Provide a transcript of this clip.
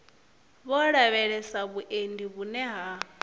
vho lavhelesa vhuendi vhune ha